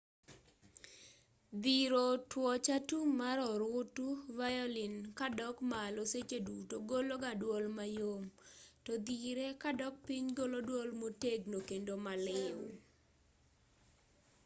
dhiro twoch atum mar orutu violin kadok malo seche duto golo ga dwol mayom to dhire kadok piny golo dwol motegno kendo maliw